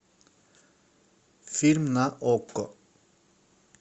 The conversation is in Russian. фильм на окко